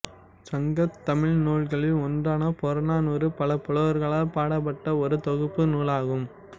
சங்கத் தமிழ் நூல்களில் ஒன்றான புறநானூறு பல புலவர்களால் பாடப்பட்ட ஒரு தொகுப்பு நூலாகும்